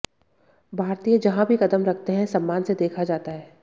भारतीय जहां भी कदम रखते हैं सम्मान से देखा जाता है